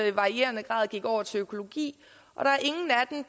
i varierende grad over til økologi